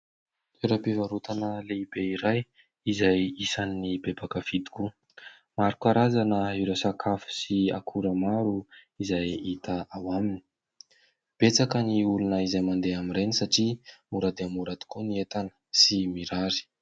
Toeram-pivarotana lehibe iray izay isan'ny be mpankafy koa, maro karazana ireo sakafo sy akora maro izay hita ao aminy ; betsaka ny olona izay mandeha amin'ireny satria mora dia mora tokoa ny entana sy mirary.